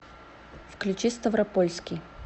включи ставропольский